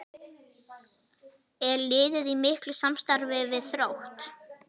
Er liðið í miklu samstarfi við Þrótt?